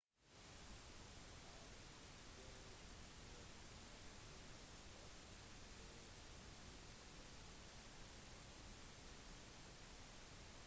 alt dette og mer viser ontario det utenforstående anser som ekte kanadisk